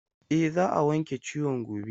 E, za a wanke ciwon gobe.